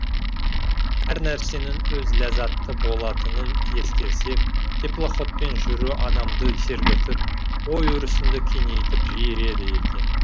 әр нәрсенің өз ләззаты болатынын ескерсек теплоходпен жүру адамды сергітіп ой өрісіңді кеңейтіп жіереді екен